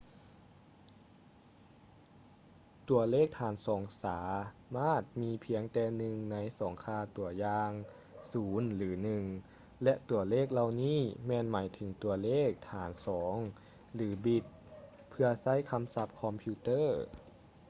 ຕົວເລກຖານສອງສາມາດມີພຽງແຕ່ໜຶ່ງໃນສອງຄ່າຕົວຢ່າງ 0 ຫຼື 1 ແລະ ຕົວເລກເຫຼົ່ານີ້ແມ່ນໝາຍເຖິງຕົວເລກຖານສອງ ຫຼື ບິດ ເພື່ອໃຊ້ຄຳສັບຄອມພິວເຕີ້